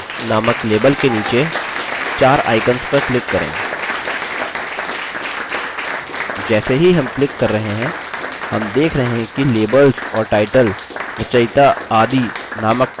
जैसे ही हम click कर रहे हैं हम देख रहे हैं कि labels और टाइटल रचयिता आदि नामक text boxes की व्यवस्था बदल रही है